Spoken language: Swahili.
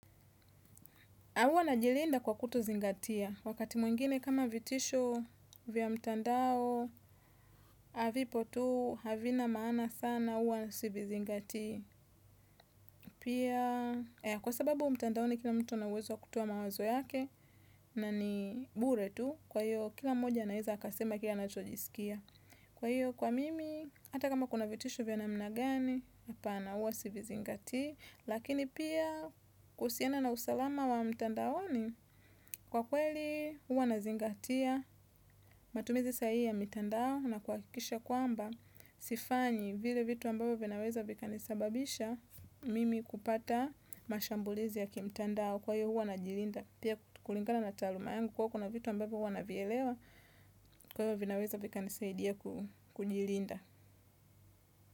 Huwa najilinda kwa kutuzingatia. Wakati mwingine kama vitisho vya mtandao, vipo tu, havina maana sana, huwa sivizingatii. Pia, kwa sababu mtandaoni kila mtu ana uwezo wa kutoa mawazo yake, na ni bure tu, kwa hiyo kila mmoja anaweza akasema kile anachojisikia. Kwa hiyo, kwa mimi, hata kama kuna vitisho vya namna gani, hapana huwa sivizingatii. Lakini pia, kuhusiana na usalama wa mtandaoni, kwa kweli huwa nazingatia matumizi sahihi ya mitandao, na kuhakikisha kwamba sifanyi vile vitu ambavyo vinaweza vikanisababisha mimi kupata mashambulizi ya kimtandao. Kwa hiyo huwa najilinda. Pia kulingana na taaluma yangu kuwa kuna vitu ambavyo huwa navielewa, kwa hivyo vinaweza vikanisaidia kujilinda.